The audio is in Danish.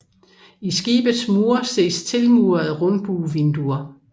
I skibets mure ses tilmurede rundbuevinduer